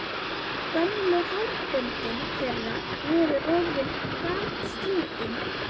Gömlu hárböndin þeirra voru orðin gatslitin.